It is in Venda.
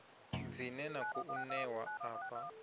dzine na khou ṋewa afha